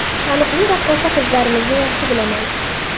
Taniqli raqqosa qizlarimizni yaxshi bilaman.